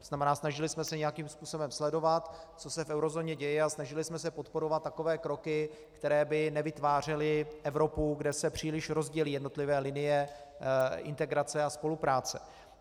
To znamená, snažili jsme se nějakým způsobem sledovat, co se v eurozóně děje, a snažili jsme se podporovat takové kroky, které by nevytvářely Evropu, kde se příliš rozdělí jednotlivé linie integrace a spolupráce.